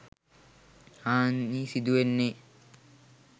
හානි සිදුවන්නෙ